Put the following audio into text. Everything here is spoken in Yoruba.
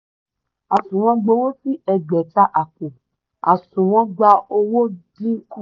àsùnwọ̀n gbowo sí ẹgbẹta àpò òsùnwọ̀n gbà owó dínkù.